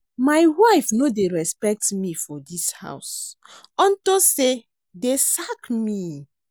My wife no dey respect me for dis house unto say dey sack me